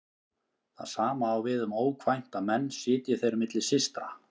Það sama á við um ókvænta menn sitji þeir milli systra.